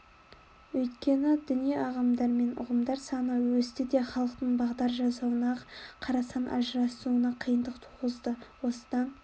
өйткені діни ағымдар мен ұйымдар саны өсті де халықтың бағдар жасауына ақ-қарасын ажыратуына қиындық туғызды осыдан